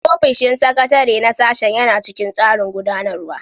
Ofishin sakatare na sashen yana cikin tsarin gudanarwa